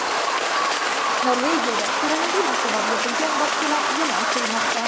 Norvegiyada koronavirus sabab yopilgan bog‘chalar yana ochilmoqda.